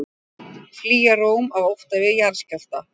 Flýja Róm af ótta við jarðskjálfta